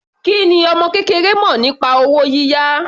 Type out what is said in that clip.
Kí ni ọmọ kékeré mọ̀ nípa owó yíyá?